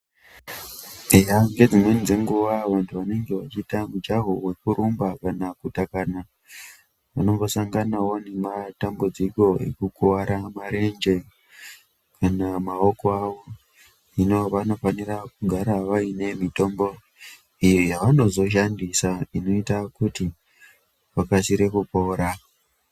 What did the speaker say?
Eya ngedzimweni dzenguva vantu vanenge vachiita mujaho wekurumba kana kutakana vanombosanganawo nematambudziko ekukuvara marenje kana maoko avo. Hino vanofanira kugara vaine mitombo iyo yavanozoshandisa inoita kuti vakasire kupora.